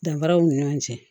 Danfaraw ni ɲɔgɔn cɛ